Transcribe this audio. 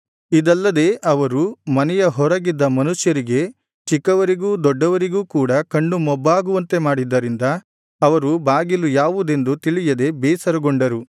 ಇದಲ್ಲದೆ ಅವರು ಮನೆಯ ಹೊರಗಿದ್ದ ಮನುಷ್ಯರಿಗೆ ಚಿಕ್ಕವರಿಗೂ ದೊಡ್ಡವರಿಗೂ ಕೂಡ ಕಣ್ಣು ಮೊಬ್ಬಾಗುವಂತೆ ಮಾಡಿದ್ದರಿಂದ ಅವರು ಬಾಗಿಲು ಯಾವುದೆಂದು ತಿಳಿಯದೆ ಬೇಸರಗೊಂಡರು